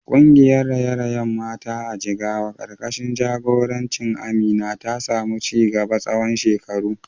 Kungiyar raye-rayen mata a Jigawa karkashin jagorancin Amina ta samu ci gaba tsawon shekaru.